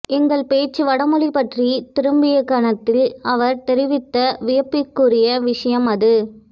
எங்கள் பேச்சு வடமொழிபற்றித் திரும்பிய கணத்தில் அவர் தெரிவித்த வியப்புக்குரிய விஷயம் அது